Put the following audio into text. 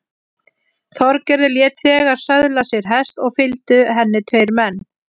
Þorgerður lét þegar söðla sér hest og fylgdu henni tveir menn.